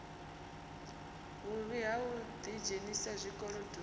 vhuvhi ha u ḓidzhenisa zwikolodoni